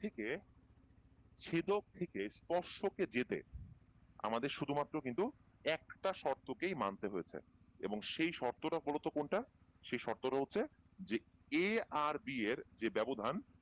থেকে ছেদক থেকে স্পর্শ কে যেতে আমাদের শুধু মাত্র কিন্তু একটা শর্ত কেই মানতে হয়েছে এবং সেই শর্তটা বলতো কোনটা সেই শর্তটা হচ্ছে যে a আর B এর যে ব্যবধান